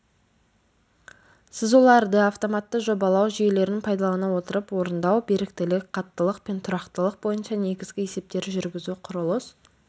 сызуларды автоматты жобалау жүйелерін пайдалана отырып орындау беріктілік қаттылық пен тұрақтылық бойынша негізгі есептер жүргізу құрылыс